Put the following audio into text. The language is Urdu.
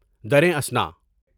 درِ اثنا